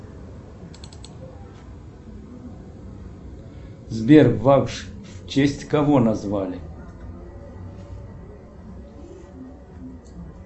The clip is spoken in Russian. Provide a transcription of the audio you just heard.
сбер вас в честь кого назвали